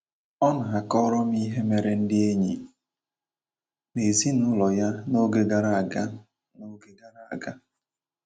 Ọ na - akọrọ m ihe mere ndị enyi na ezinụlọ ya n’oge gara aga n’oge gara aga.